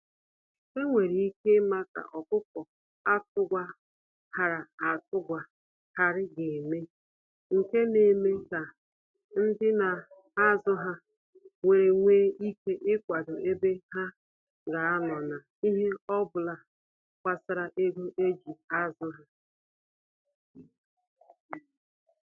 Enwere ike ima ka ọkụkọ atụ gwa ghara atụ gwa ghari ga eme, nke na eme ka ndị na azụ ha nwere nwe ike ikwado ebe ha ga anọ na ihe obula gbasara ego eji azụ ha.